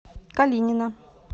калинина